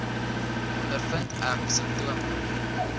ondervind ek simptome